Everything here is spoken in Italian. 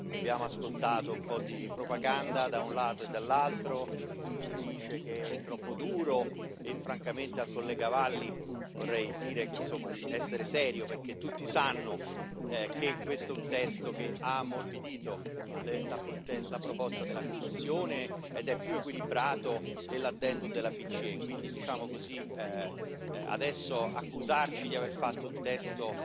Abbiamo ascoltato un po' di propaganda, da un lato e dall'altro. C'è chi dice che è troppo duro, e francamente al collega Valli vorrei dire di essere serio, perché tutti sanno che questo è un testo che ha ammorbidito la proposta della Commissione ed è più equilibrato dell'addendum della BCE e quindi adesso accusarci di aver fatto un testo